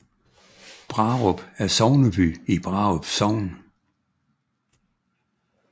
Brarup er sogneby i Brarup Sogn